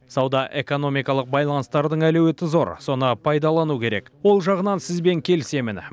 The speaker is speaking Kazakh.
сауда экономикалық байланыстардың әлеуеті зор соны пайдалану керек ол жағынан сізбен келісмен